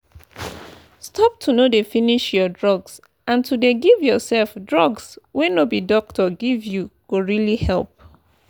stop to no dey finish your drugs and to dey give yourself drugs wey no be doctor give you go really help.